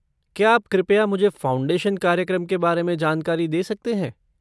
क्या आप कृपया मुझे फ़ाउंडेशन कार्यक्रम के बारे में जानकारी दे सकते हैं?